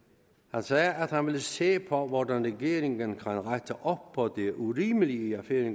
han sagde at han ville se på hvordan regeringen kan rette op på det urimelige i